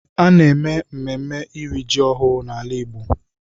A na-eme mmemme iri ji ọhụụ n’ala igbo